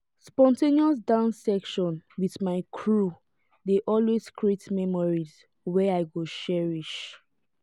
spontaneous dance session with my crew dey always create memories wey i go cherish.